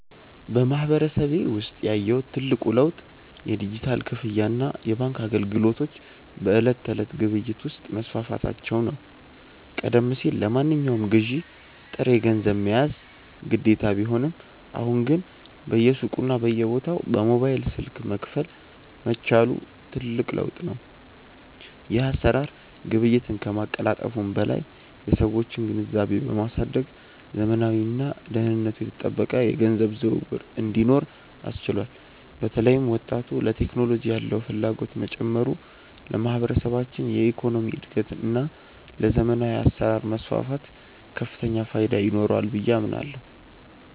በማህበረሰቤ ውስጥ ያየሁት ትልቁ ለውጥ የዲጂታል ክፍያና የባንክ አገልግሎቶች በዕለት ተዕለት ግብይት ውስጥ መስፋፋታቸው ነው። ቀደም ሲል ለማንኛውም ግዢ ጥሬ ገንዘብ መያዝ ግዴታ ቢሆንም፣ አሁን ግን በየሱቁና በየቦታው በሞባይል ስልክ መክፈል መቻሉ ትልቅ ለውጥ ነው። ይህ አሰራር ግብይትን ከማቀላጠፉም በላይ የሰዎችን ግንዛቤ በማሳደግ ዘመናዊና ደህንነቱ የተጠበቀ የገንዘብ ዝውውር እንዲኖር አስችሏል። በተለይም ወጣቱ ለቴክኖሎጂ ያለው ፍላጎት መጨመሩ ለማህበረሰባችን የኢኮኖሚ እድገትና ለዘመናዊ አሰራር መስፋፋት ከፍተኛ ፋይዳ ይኖረዋል ብዬ አምናለሁ።